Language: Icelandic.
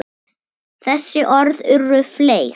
Þessi orð urðu fleyg.